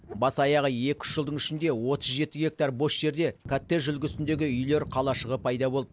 бас аяғы екі үш жылдың ішінде отыз жеті гектар бос жерде коттедж үлгісіндегі үйлер қалашығы пайда болды